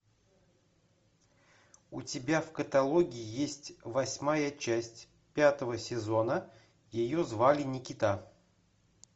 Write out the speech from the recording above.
у тебя в каталоге есть восьмая часть пятого сезона ее звали никита